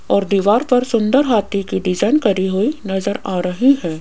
और दीवार पर सुंदर हाथी की डिजाइन करी हुई नजर आ रही है।